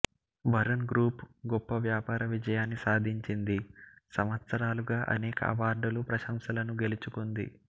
Varun group గొప్ప వ్యాపార విజయాన్ని సాధించింది సంవత్సరాలుగా అనేక అవార్డులు ప్రశంసలను గెలుచుకుంది